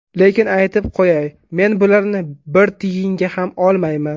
Lekin aytib qo‘yay, men bularni bir tiyinga ham olmayman.